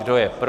Kdo je pro?